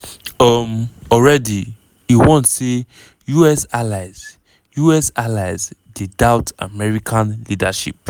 um already e warn say us allies us allies dey doubt american leadership.